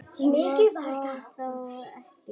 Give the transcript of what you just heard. Svo fór þó ekki.